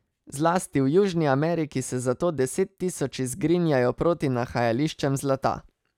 Zlasti v Južni Ameriki se zato desettisoči zgrinjajo proti nahajališčem zlata.